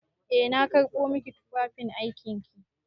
Eh na karɓo maki tufafin aikin ki.